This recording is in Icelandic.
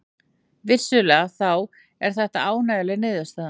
Vissulega þá er þetta ánægjuleg niðurstaða